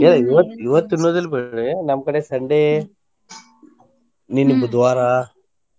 ಏ ಇವತ್ತು ಇವತ್ತು ತಿನ್ನೋದಿಲ್ಲ ಬಿಡ್ರಿ ನಮ್ಮ ಕಡೆ Sunday ನಿನ್ನಿ ಬುಧವಾರ.